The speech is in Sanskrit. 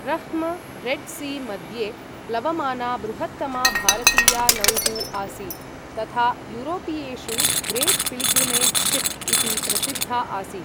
रह्म्, रेड् सी मध्ये प्लवमाना बृहत्तमा भारतीया नौः आसीत् तथा यूरोपीयेषु ग्रेट् पिल्ग्रिमेज् शिप् इति प्रसिद्धा आसीत्।